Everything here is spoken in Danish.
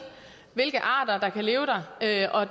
hvilke arter der kan leve der og